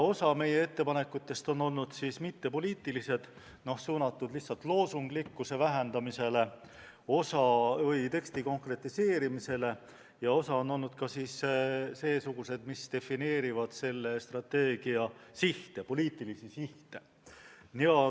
Osa meie ettepanekutest olid mittepoliitilised, suunatud lihtsalt loosunglikkuse vähendamisele, osa olid mõeldud teksti konkretiseerimiseks ja osa olid ka seesugused, mis defineerisid selle strateegia poliitilisi sihte.